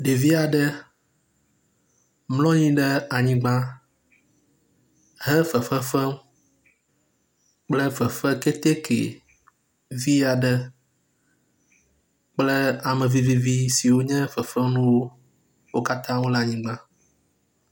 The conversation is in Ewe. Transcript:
Ɖevi aɖe mlɔ anyi ɖe anyigba he fefe fem kple fefeketeke vi aɖe kple ame vivivi si wonye fefefenuwo. Wo katã le anyigba.